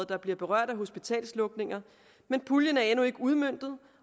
der bliver berørt af hospitalslukninger men puljen er endnu ikke udmøntet